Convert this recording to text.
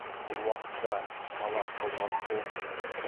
бұл уақытта қала толған тобықты